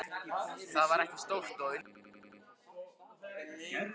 Það var ekki stórt og undir súðum.